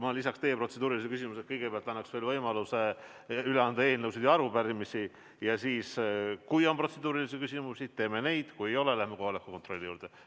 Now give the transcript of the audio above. Ma lisan selle ettepaneku, et kõigepealt annaksin võimaluse üle anda eelnõusid ja arupärimisi ja siis, kui on protseduurilisi küsimusi, kuulame neid, kui ei ole, läheme kohaloleku kontrolli juurde.